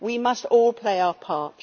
We must all play our part.